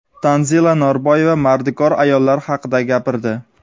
Tanzila Norboyeva mardikor ayollar haqida gapirdi.